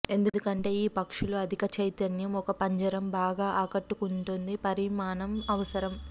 ఎందుకంటే ఈ పక్షులు అధిక చైతన్యం ఒక పంజరం బాగా ఆకట్టుకుంటుంది పరిమాణం అవసరం